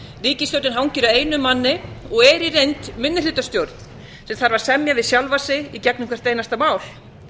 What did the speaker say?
ríkisstjórnin hangir á einum manni og er í reynd minnihlutastjórn sem þarf að semja við sjálfa sig í gegnum hvert einasta mál